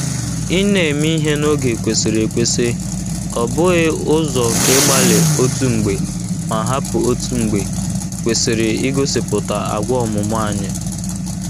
Ịna-eme ihe n’oge kwesịrị ekwesị — ọ bụghị ụzọ nke ịgbalị otu mgbe ma hapụ otu mgbe — kwesịrị ịgosịpụta agwa ọmụmụ anyị.